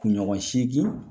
Kunɲɔgɔn seegin.